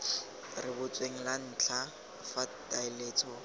rebotsweng la ntlha fa taletso